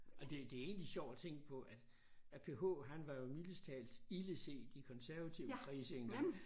Og det det er egentlig sjovt at tænke på at at P H han var jo mildest talt ildeset i konservative kredse engang